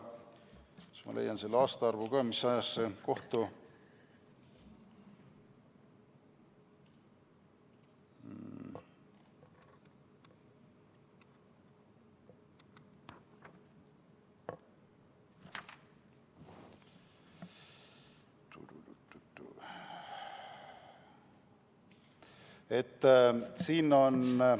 Vaatan, kas ma leian selle aastaarvu ka, mis ajast see on.